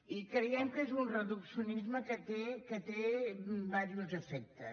i creiem que és un reduccionisme que té diversos efectes